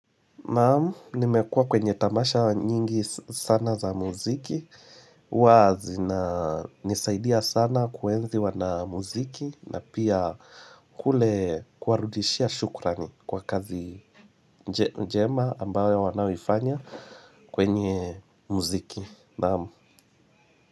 Naam, nimekua kwenye tamasha nyingi sana za muziki, huwa zinanisaidia sana kuenzi wanamuziki na pia kule kuwarudishia shukrani kwa kazi njema ambayo wanayoifanya kwenye muziki. Naam.